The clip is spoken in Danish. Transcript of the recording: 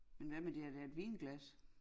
Men hvad med det er da et vinglas